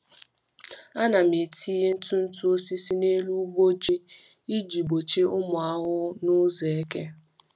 Ana m etinye ntụ ntụ osisi n’elu ugbo ji iji gbochie ụmụ ahụhụ n’ụzọ eke.